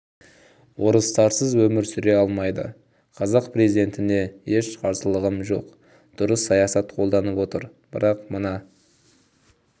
орыстарсыз өмір сүре алмайды қазақ президентіне еш қарсылығым жоқ дұрыс саясат қолданып отыр бірақ мына